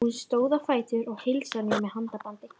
Hún stóð á fætur og heilsaði mér með handabandi.